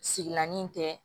Sigilanin tɛ